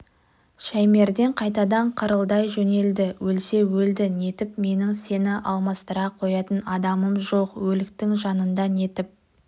шаймерден қайтадан қырылдай жөнелді өлсе өлді нетіп менің сені алмастыра қоятын адамым жоқ өліктің жанында нетіп